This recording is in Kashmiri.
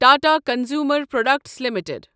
Tata consumer products limited